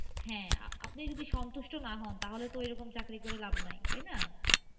হ্যাঁ, আপনি যদি সন্তুষ্ট না হন তাহলে তো ঐরকম চাকরি করে লাভ নাই। তাই না?